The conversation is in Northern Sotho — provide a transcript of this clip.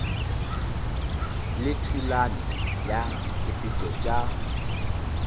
le thulano ya ditshepetšo tša